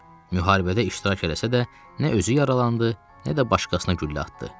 Müharibədə iştirak eləsə də, nə özü yaralandı, nə də başqasına güllə atdı.